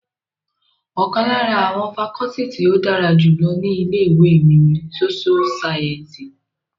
Ọ̀kan lára àwọn fakọọti tí ó dára jù lọ ní ilé ìwé mi ní sóṣú sáyẹ́ǹsì